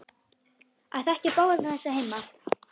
Að þekkja báða þessa heima.